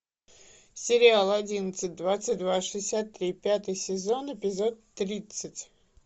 сериал одиннадцать двадцать два шестьдесят три пятый сезон эпизод тридцать